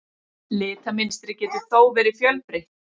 Litamynstrið getur þó verið fjölbreytt.